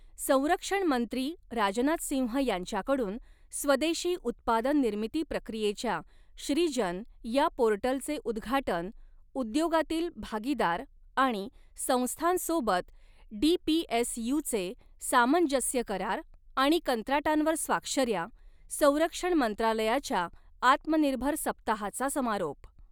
संरक्षणमंत्री राजनाथसिंह यांच्याकडून स्वदेशी उत्पादननिर्मिती प्रक्रियेच्या श्रीजन या पोर्टलचे उदघाटन, उद्योगातील भागीदार आणि संस्थांसोबत डीपीएसयूचे सामंजस्य करार आणि कंत्राटांवर स्वाक्षऱ्या, संरक्षण मंत्रालयाच्या आत्मनिर्भर सप्ताहाचा समारोप